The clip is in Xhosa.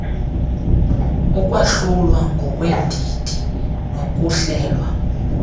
ukwahlulwa ngokweendidi nokuhlelwa